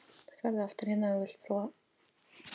Jökull, Sóldís, Heiðdís og Blædís.